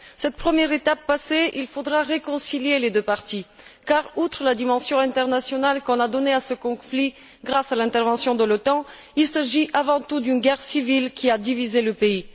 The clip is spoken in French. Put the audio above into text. Cette première étape passée, il faudra réconcilier les deux parties, car outre la dimension internationale qu'a prise ce conflit à la suite de l'intervention de l'OTAN, il s'agit avant tout d'une guerre civile qui a divisé le pays.